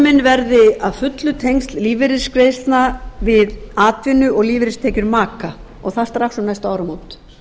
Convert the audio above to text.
afnumin verði að fullu tengsl lífeyrisgreiðslna við atvinnu og lífeyristekjur maka og það strax um næstu áramót